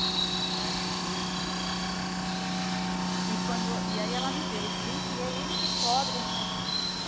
Mas falava de um jeito que para mim... E quando e aí ela me deu esse lenço e é ele que cobre a minha mala.